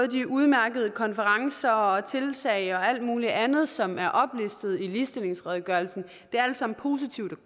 de udmærkede konferencer og de tiltag og alt muligt andet som er oplistet i ligestillingsredegørelsen det er alt sammen positivt